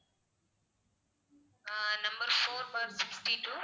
ah number four bar sixty-two